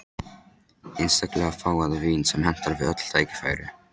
Einstaklega fágað vín sem hentar við öll tækifæri.